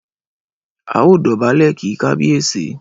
Ẹ dọ̀bálẹ̀ kí kábíyèsí!